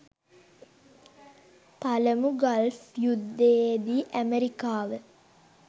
පළමු ගල්ෆ් යුද්ධයේදී අමෙරිකාව